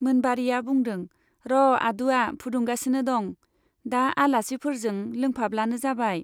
मोनबारीया बुंदों , र' आदुवा फुदुंगासिनो दं , दा आलासिफोरजों लोंफाब्लानो जाबाय।